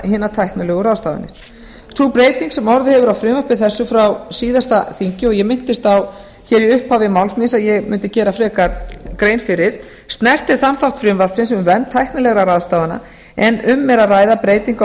hinar tæknilegu ráðstafanir sú breyting sem orðið hefur á frumvarpi þessu frá síðasta þingi og ég minntist á hér í upphafi máls míns að ég mundi gera frekar grein fyrir snertir þann þátt frumvarpsins um vernd tæknilegra ráðstafana en um er að ræða breytingu á